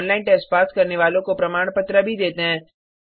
online test pass करने वालों को प्रमाण पत्र भी देते हैं